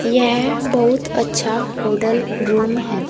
यह बहुत अच्छा होटल रूम है।